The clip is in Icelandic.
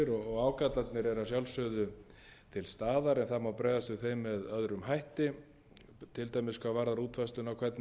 og ágallarnir eru að sjálfsögðu til staðar en það má bregðast við þeim með öðrum hætti til dæmis hvað varðar útfærsluna